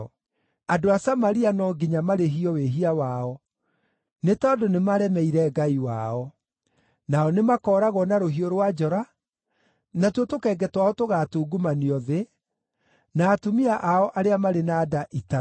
Andũ a Samaria no nginya marĩhio wĩhia wao, nĩ tondũ nĩmaremeire Ngai wao. Nao nĩmakooragwo na rũhiũ rwa njora; natuo tũkenge twao tũgaatungumanio thĩ, na atumia ao arĩa marĩ na nda itarũrwo.”